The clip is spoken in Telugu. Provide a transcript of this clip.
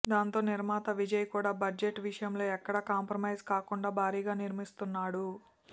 దాంతో నిర్మాత విజయ్ కూడా బడ్జెట్ విషయంలో ఎక్కడ కంప్రమైస్ కాకుండా భారీగా నిర్మిస్తున్నాడు